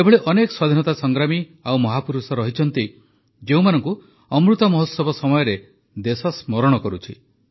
ଏଭଳି ଅନେକ ସ୍ୱାଧୀନତା ସଂଗ୍ରାମୀ ଓ ମହାପୁରୁଷ ରହିଛନ୍ତି ଯେଉଁମାନଙ୍କୁ ଅମୃତ ମହୋତ୍ସବ ସମୟରେ ଦେଶ ସ୍ମରଣ କରୁଛି